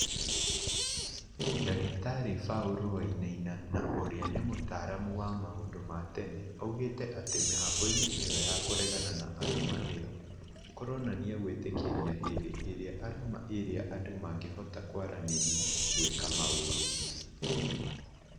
Dr Paul Wainaina na ũria nĩ mũtaaramu wa maũndũ ma tene augĩte atĩ mĩhang'o-inĩ ĩyo ya kũregana na arama ĩyo, kũroranania gwĩtĩkĩria hĩndĩ ĩrĩa arama ĩrĩa andũ mangĩhota kwaranĩria gwĩka maũru